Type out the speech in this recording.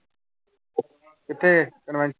ਕਿੱਥੇ ਕਨਵੈਂ